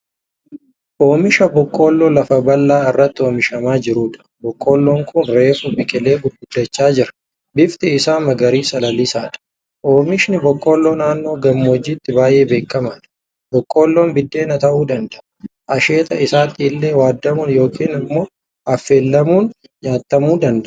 Oomisha boqqoolloo lafa bal'aa irratti oomishamaa jirudha. Boqqolloon kun reefu biqilee gurguddachaa jira. Bifti isaa magariisa lalisaadha. Oomishi boqqolloo naannoo gammoojjiitti baay'ee beekamaadha. Boqqolloon biddeena ta'uu danda'a. Asheeta isaatti illee waadamuun yookiin ammoo affeelamuun nyaatamuu danda'a.